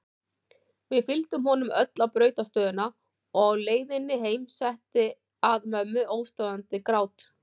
Við fylgdum honum öll á brautarstöðina og á leiðinni heim setti að mömmu óstöðvandi grát.